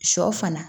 Sɔ fana